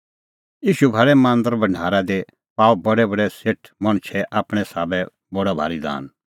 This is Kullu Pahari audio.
ईशू भाल़ै मांदरे भढारा दी पाअ बडैबडै सेठ मणछै आपणैं साबै बडअ भारी दान